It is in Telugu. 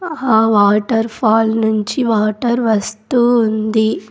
ఆ వాటర్ ఫాల్ నుంచి వాటర్ వస్తూ ఉంది.